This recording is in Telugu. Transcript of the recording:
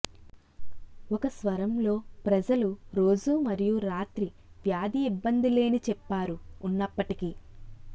ఒక స్వరం లో ప్రజలు రోజు మరియు రాత్రి వ్యాధి ఇబ్బంది లేని చెప్పారు ఉన్నప్పటికీ